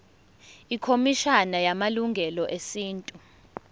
ikhomishana yamalungelo esintu